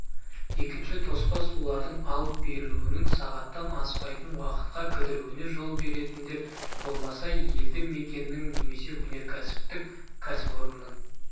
екінші тоспа сулардың алып берілуінің сағаттан аспайтын уақытқа кідіруіне жол беретіндер болмаса елді мекеннің немесе өнеркәсіптік кәсіпорынның